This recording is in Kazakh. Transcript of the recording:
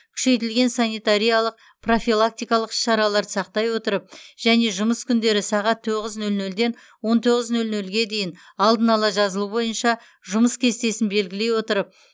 күшейтілген санитариялық профилактикалық іс шараларды сақтай отырып және жұмыс күндері сағат тоғыз нөл нөлден он тоғыз нөл нөлге дейін алдын ала жазылу бойынша жұмыс кестесін белгілей отырып